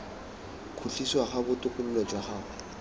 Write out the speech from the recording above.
khutlisiwa ga botokololo jwa gago